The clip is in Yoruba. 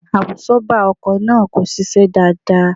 Àbùsọ́ọ́bà ọkọ̀ náà kò ṣiṣẹ́ dáadáa